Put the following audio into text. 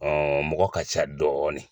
Ɔ mɔgɔ ka ca dɔɔnin